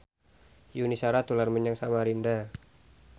Yuni Shara dolan menyang Samarinda